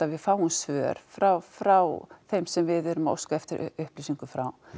við fáum svör frá frá þeim sem við erum að óska eftir upplýsingum frá